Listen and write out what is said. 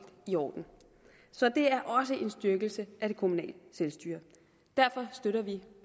i orden så det er også en styrkelse af det kommunale selvstyre derfor støtter vi